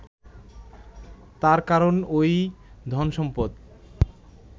তার কারণ ওই ধনসম্পদ